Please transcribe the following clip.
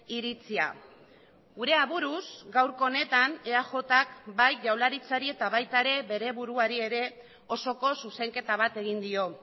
iritzia gure aburuz gaurko honetan eajk bai jaurlaritzari eta baita ere bere buruari ere osoko zuzenketa bat egin dio